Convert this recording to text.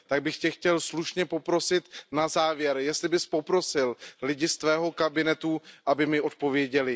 Tak bych Tě chtěl slušně poprosit na závěr, jestli bys poprosil lidi ze svého kabinetu, aby mi odpověděli.